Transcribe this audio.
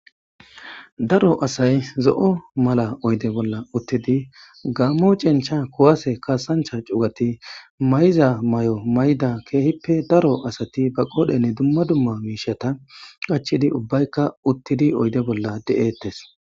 Daro asay zo' o mala oyde bolla uttidi gammo cincha kowase kaasancha cugati mayza mayo mayda keehippe daro asati ba qoodhenne dumma dumma miishata qachidi ubbaykka uttidi oyde bolla de7ettes.